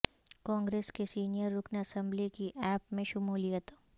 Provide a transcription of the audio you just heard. کانگریس کے سینئر رکن اسمبلی کی عاپ میں شمولیت